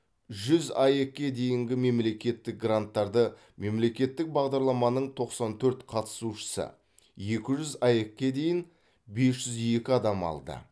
жүз аек ке дейінгі мемлекеттік гранттарды мемлекеттік бағдарламаның тоқсан төрт қатысушысы екі жүз аек ке дейін бес жүз екі адам алды